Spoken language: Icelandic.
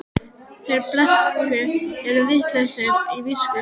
Þeir bresku eru vitlausir í viskí.